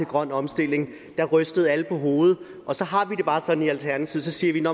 grøn omstilling der rystede alle på hovedet og så har vi det jo bare sådan i alternativet